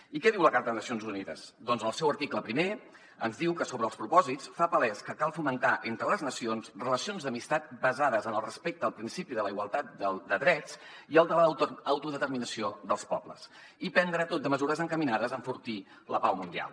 i què diu la carta de nacions unides doncs en el seu article primer sobre els propòsits fa palès que cal fomentar entre les nacions relacions d’amistat basades en el respecte al principi de la igualtat de drets i el de l’autodeterminació dels pobles i prendre tot de mesures encaminades a enfortir la pau mundial